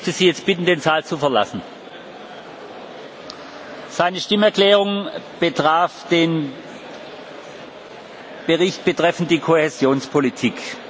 Ich möchte Sie jetzt bitten, den Saal zu verlassen. Seine Stimmerklärung betraf den Bericht betreffend die Kohäsionspolitik.